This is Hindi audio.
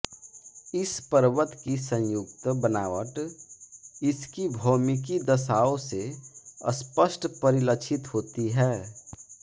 इस पर्वत की संयुक्त बनावट इसकी भौमिकी दशाओं से स्पष्ट परिलक्षित होती है